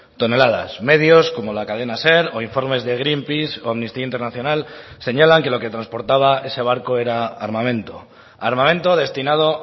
toneladas medios como la cadena ser o informes de greenpeace o amnistía internacional señalan que lo que transportaba ese barco era armamento armamento destinado